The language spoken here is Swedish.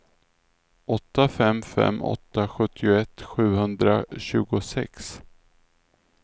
åtta fem fem åtta sjuttioett sjuhundratjugosex